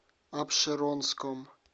апшеронском